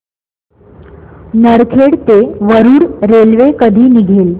नरखेड ते वरुड रेल्वे कधी निघेल